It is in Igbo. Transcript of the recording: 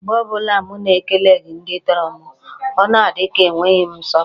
Mgbe ọbụla mụ na-ekeleghi ndị tọrọ m, o na-adi ka e nweghi m nsọpụrụ.